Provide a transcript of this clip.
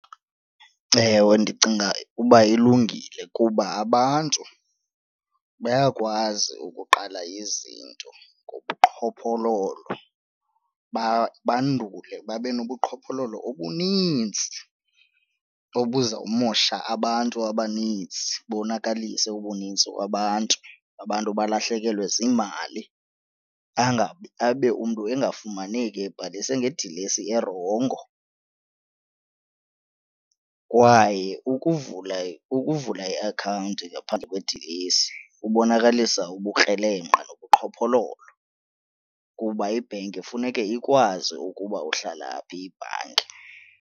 Ewe, ndicinga uba ilungile kuba abantu bayakwazi ukuqala izinto ngobuqhophololo bandule babe nobuqhophololo obunintsi obuzawumosha abantu abaninzi bonakalise ubunintsi babantu abantu balahlekelwe ziimali angabi abe umntu engafumaneki ebhalise ngedilesi erongo. Kwaye ukuvula ukuvula iakhawunti ngaphandle kwidilesi kubonakalisa ubukrelemnqa nobuqhophololo kuba ibhenki funeke ikwazi ukuba uhlala phi ibhanki.